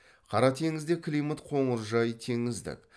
қара теңізде климат қоныржай теңіздік